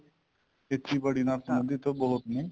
ਖੇਤੀ ਬਾੜੀ ਨਾਲ ਸਬੰਧਿਤ ਬਹੁਤ ਨੇ